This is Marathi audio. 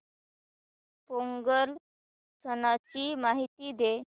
पोंगल सणाची माहिती दे